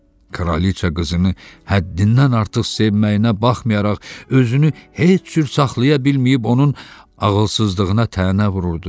Kraliçə qızını həddindən artıq sevməyinə baxmayaraq özünü heç cür saxlaya bilməyib onun ağılsızlığına tənə vururdu.